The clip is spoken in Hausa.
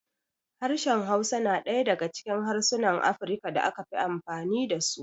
Harshen Hausa na ɗaya daga cikin harsunan Afirka da aka fi amfani da su.